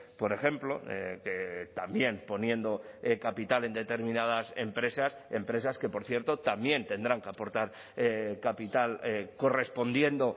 por ejemplo que también poniendo capital en determinadas empresas empresas que por cierto también tendrán que aportar capital correspondiendo